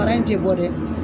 Fara in ti bɔ dɛ!